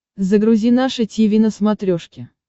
загрузи наше тиви на смотрешке